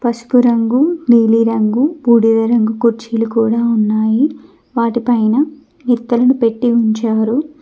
పసుపు రంగు నీలిరంగు బూడిద రంగు కుర్చీలు కూడా ఉన్నాయి వాటిపైన ఇత్తడిని పెట్టి ఉంచారు.